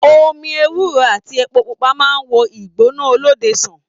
Omí ewúro àti èpo pupa máa n wò igbona olóde sàn.